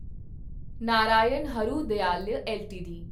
Narayan Hrudayalaya LTD